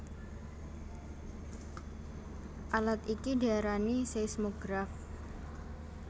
Alat iki diarani seismograf